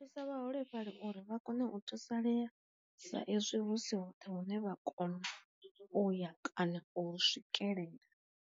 Thusa vhaholefhali uri vha kone u thusalea sa ezwi hu si hoṱhe hune vha kona uya kana u hu swikelela.